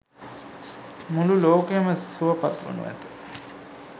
මුළු ලෝකයම සුවපත් වනු ඇත.